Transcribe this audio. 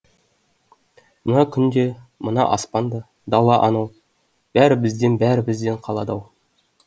мына күн де мына аспан да дала анау бәрі бізден бәрі бізден қалады ау